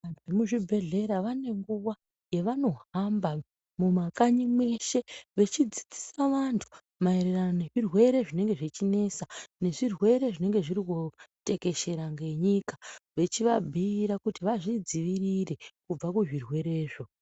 Vemuzvibhedhlera vanenguva yavanohamba mumakanyi mweshe vechidzidzisa vantu marerano nezvirwere zvinenge zvechinesa. Nezvirwere zvinenge zvechitekeshera ngenyika vechivambuira kuti vazvidzivirire kubva kuzvirwerezvo.